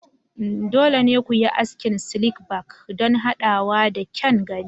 Dole ne ku yi askin slick back don haɗawa da kyan gani.